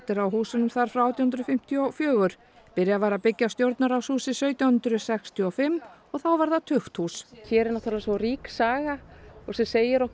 á húsunum þar frá átján hundruð fimmtíu og fjögur byrjað var að byggja Stjórnarráðshúsið sautján hundruð sextíu og fimm og þá var það tukthús hér er náttúrulega svo rík saga og sem segir okkur